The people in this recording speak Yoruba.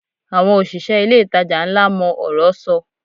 Àwọn òṣìṣẹ́ ilé-ìtajà ńlá mọ ọ̀rọ́ sọ